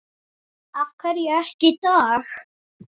Af hverju ekki í dag?